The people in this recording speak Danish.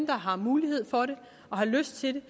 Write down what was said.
der har mulighed for det og lyst til